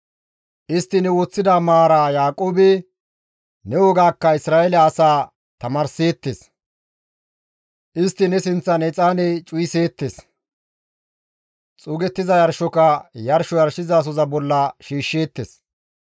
Istti ne woththida maaraa Yaaqoobe, ne wogaakka Isra7eele asaa tamaarseettes; istti ne sinththan exaane cuwaseettes; xuugettiza yarshoka yarsho yarshizasoza bolla shiishsheettes.